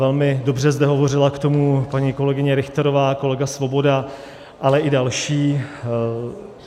Velmi dobře zde hovořila k tomu paní kolegyně Richterová, kolega Svoboda, ale i další.